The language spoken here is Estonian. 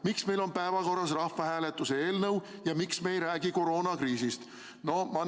Miks meil on päevakorras rahvahääletuse eelnõu ja miks me ei räägi koroonakriisist?